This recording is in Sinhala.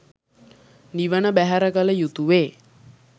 නිවන බැහැර කල යුතුවේ.